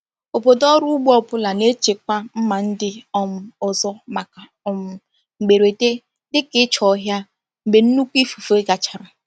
Obodo ọrụ ugbo ọ bụla na-echekwa mma ndị um ọzọ maka um mberede dịka ịcha ọhịa mgbe nnukwu ifufe gachara.